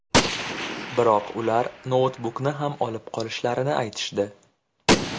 Biroq ular noutbukni ham olib qolishlarini aytishdi.